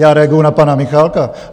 Já reaguji na pana Michálka.